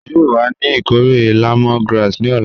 A yoo wa ni ikore lemongrass ni ọla.